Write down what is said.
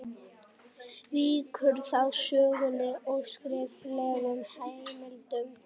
Víkur þá sögunni að skriflegum heimildum.